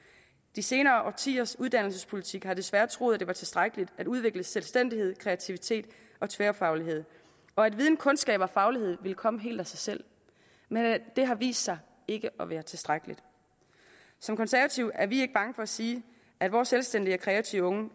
de senere årtiers uddannelsespolitik desværre troet at det var tilstrækkeligt at udvikle selvstændighed kreativitet og tværfaglighed og at viden kundskaber og faglighed ville komme helt af sig selv men det har vist sig ikke at være tilstrækkeligt som konservative er vi ikke bange for at sige at vores selvstændige og kreative unge